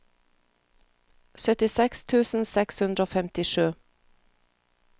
syttiseks tusen seks hundre og femtisju